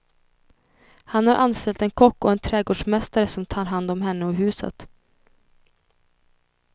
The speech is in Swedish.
Han har anställt en kock och en trädgårdsmästare som tar hand om henne och huset.